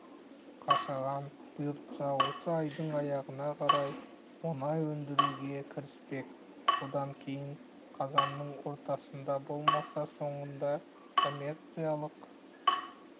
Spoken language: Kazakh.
қашаған бұйыртса осы айдың аяғына қарай мұнай өндіруге кіріспек одан кейін қазанның ортасында болмаса соңында коммерциялық